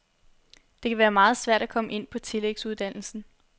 Det kan være meget svært at komme ind på tillægsuddannelsen.